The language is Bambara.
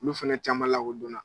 Olu fɛnɛ caman lakodon na.